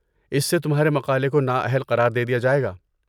اس سے تمہارے مقالے کو نا اہل قرار دے دیا جائے گا۔